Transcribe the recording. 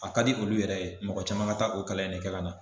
A ka di olu yɛrɛ ye mɔgɔ caman ka taa o kalan in ne kɛ ka na